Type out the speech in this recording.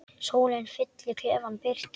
Sólin fyllir klefann birtu.